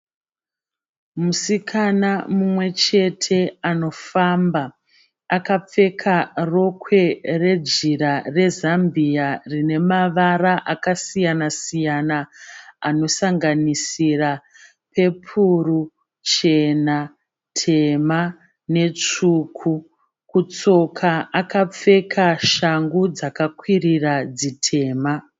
Musikana mumwe chete anofamba. Akapfeka rokwe rejira rezambiya rine mavara akasiyana siyana anosanganisira pepuru, chena, tema netsvuku. Kutsoka akapfeka shangu dzakakwirira dzitema.